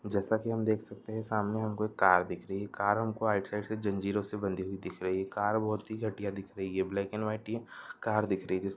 जेसा की हम देख सकते हे सामने हमको एक कार दिख रही हे कार हमको आउट साइड से जंजीरोंसे बंधी हुई दिख रही हे कार बहोत ही घटिया दिख रही हे ब्लैक एंड व्हाइट ही कार दिख रही हे जिसका --